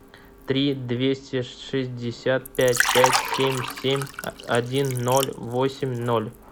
три двести шестьдесят пять пять семь семь один ноль восемь ноль